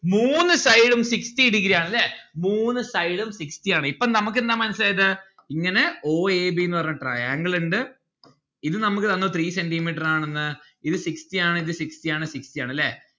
മൂന്ന് side ഉം sixty degree ആണ് ല്ലേ മൂന്ന് side ഉം sixty ആണ്. ഇപ്പം നമ്മുക്ക് എന്താ മനസ്സിലായത്? ഇങ്ങനെ o a b ന്ന്‌ പറഞ്ഞ triangle ഇണ്ട് ഇത് നമ്മുക്ക് തന്നത് three centi metre ആണെന്ന്. ഇത് sixty ആണ് ഇത് sixty ആണ് sixty ആണ്. ല്ലേ